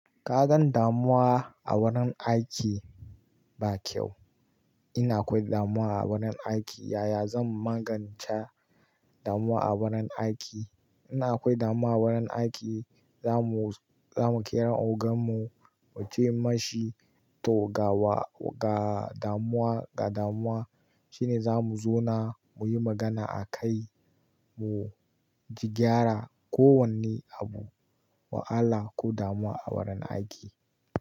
Kagan damuwa a wurin aiki ba kyau. Ina akwai damuwa a wurin aiki, yaya zan magance damuwa a wurin aiki? Ina akwai damuwa a wurin aiki, za mu, za mu kira ogan mu muce mashi to gawa, ga damuwa, ga damuwa shine za mu zauna muyi magana a kai mu gyara kowanne abu, wahala ko damuwa a wurin aiki.